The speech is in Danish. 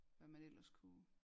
Hvad man ellers kunne